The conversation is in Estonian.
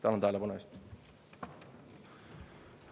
Tänan tähelepanu eest!